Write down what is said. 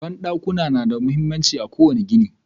Bandakuna na da mahimmanci a ƙowane gini